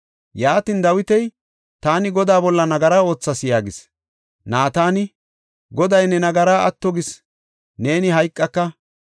Yaatin, Dawiti, “Taani Godaa bolla nagara oothas” yaagis. Naatani, “Goday ne nagaraa atto gis; neeni hayqaka.